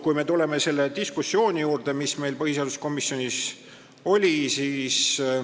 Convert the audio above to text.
Nüüd tulen selle diskussiooni juurde, mis põhiseaduskomisjonis oli.